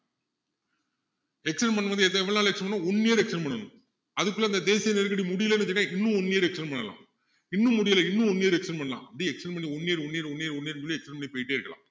extend பண்ணும் போது எத~எவ்வளவு நாள் extend பண்ணணும் one year extend பண்ணணும் அதுக்குள்ள இந்த தேசிய நெருக்கடி முடியலன்னு வச்சுக்கோங்க இன்னும் one year extend பண்ணலாம் இன்னும் முடியல இன்னும் one year extend பண்ணலாம் அப்படி extend பண்ணி one year one year one year one year ன்னு சொல்லி extend பண்ணி போய்க்கிட்டே இருக்கலாம்